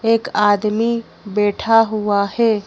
एक आदमी बैठा हुआ है।